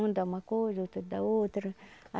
Um dá uma coisa, outro dá outra.